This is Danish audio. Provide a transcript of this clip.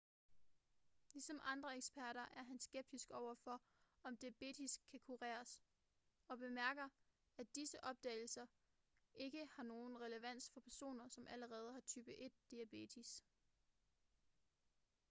ligesom andre eksperter er han skeptisk over for om diabetes kan kureres og bemærker at disse opdagelser ikke har nogen relevans for personer som allerede har type 1 diabetes